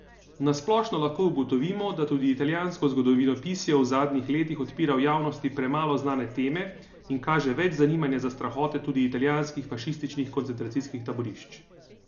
Nasplošno lahko ugotovimo, da tudi italijansko zgodovinopisje v zadnjih letih odpira v javnosti premalo znane teme in kaže več zanimanja za strahote tudi italijanskih fašističnih koncentracijskih taborišč.